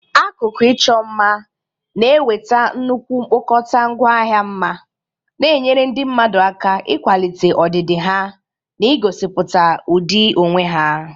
Akụkụ ịchọ mma na-eweta nnukwu mkpokọta ngwaahịa mma, na-enyere ndị mmadụ aka ịkwalite ọdịdị ha na igosipụta ụdị onwe ha.